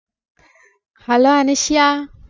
hello Anusiya